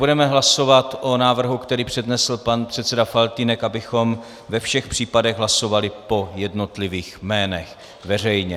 Budeme hlasovat o návrhu, který přednesl pan předseda Faltýnek, abychom ve všech případech hlasovali po jednotlivých jménech veřejně.